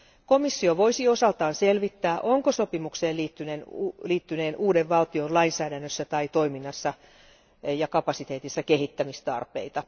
Komissio voisi osaltaan selvittää, onko sopimukseen liittyneen uuden valtion lainsäädännössä tai toiminnassa ja kapasiteetissa kehittämistarpeita.